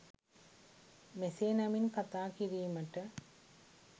මෙසේ නමින් කථා කිරීමට